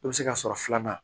I bɛ se ka sɔrɔ filanan